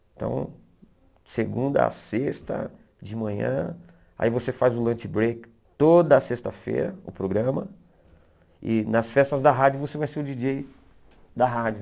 Então, segunda a sexta de manhã, aí você faz o lunch break toda sexta-feira, o programa, e nas festas da rádio você vai ser o djíi djêi da rádio.